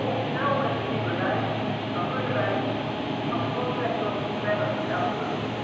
Kom snel met een nieuwe lijst, dan kunnen wij de transportsector verder helpen.